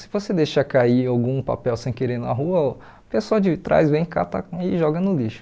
Se você deixar cair algum papel sem querer na rua, o pessoal de trás vem cata e joga no lixo.